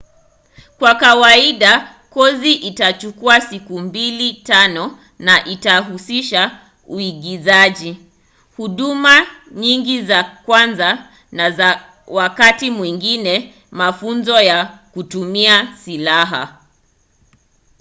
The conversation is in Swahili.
kwa kawaida kozi itachukua siku 2-5 na itahusisha uigizaji huduma nyingi za kwanza na wakati mwingine mafunzo ya kutumia silaha